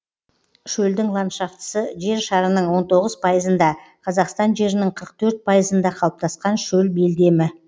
шөлдің ландшафтысы жер шарының он тоғыз пайызында қазақстан жерінің қырық төрт пайызында қалыптасқан шөл белдемі